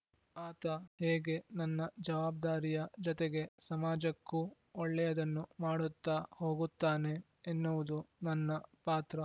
ಆತ ಹೇಗೆ ನನ್ನ ಜವಾಬ್ದಾರಿಯ ಜತೆಗೆ ಸಮಾಜಕ್ಕೂ ಒಳ್ಳೆಯದನ್ನು ಮಾಡುತ್ತಾ ಹೋಗುತ್ತಾನೆ ಎನ್ನುವುದು ನನ್ನ ಪಾತ್ರ